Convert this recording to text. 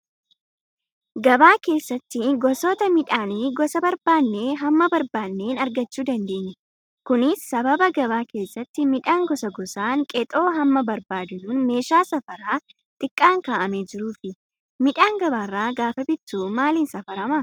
Gabaa keessatti gosoota midhaanii gosa barbaadnee hamma barbaaneen argachuu dandeenya. Kunis sababa gabaa keessatti midhaan gosa gosaan qexoo hamma barbaadnuun meeshaa safaraa xiqqaan kaa'amee jiruufi. Midhaan gabaarraa gaafa bittu maaliin safaramaa?